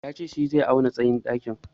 Ya ce shi zai auna tsayin ɗakin.